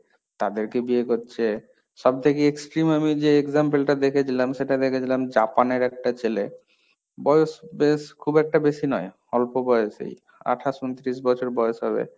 তাদেরকে বিয়ে করছে, সবথেকে extreme আমি যে example টা দেখেছিলাম সেটা দেখেছিলাম জাপানের একটা ছেলে বয়স খুব একটা বেশি নয়, অল্প বয়সেই, আঠাশ ঊনত্রিশ বছর বয়স হবে।